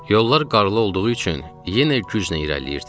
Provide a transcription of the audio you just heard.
Yollar qarlı olduğu üçün yenə güclə irəliləyirdik.